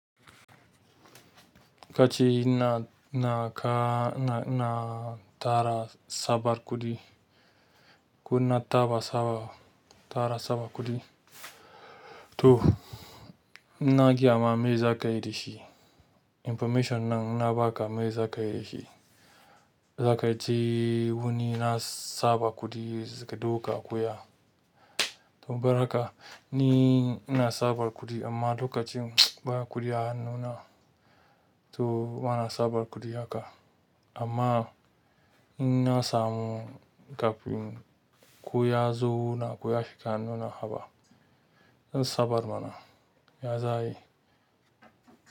Kace ina tara tsabar kuɗi ko na taɓa saba, tara sabar kuɗi? To, in na gayama me za ka yi da shi. Information nan na ba ka me za ka yi da shi. Za ka je wuni na saba kuɗi zaka duka koya. To baraka, ni ina sabar kuɗi amma lokacin ba kuɗi a hannuna. To bana sabar kuɗi haka. Amma in na samu kafin ko ya zo na koya shiga hannuna haba. Zan sabar mana, ya za yi?